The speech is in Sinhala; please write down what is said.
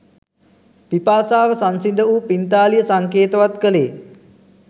පිපාසාව සංසිඳ වූ පිංතාලිය සංකේතවත් කළේ